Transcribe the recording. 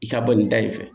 I ka bɔ nin da in fɛ